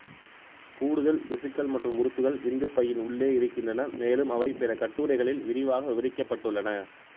கூடுதல் திசுக்கள் மற்றும் உறுப்புகள் விந்துப்பையின் உள்ளே இருக்கின்றன மேலும் அவை பிற கட்டுரைகளில் விரிவாக விவரிக்கப்பட்டுள்ளன